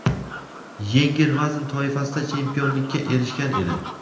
yengil vazn toifasida chempionlikka erishgan edi.